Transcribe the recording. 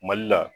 Mali la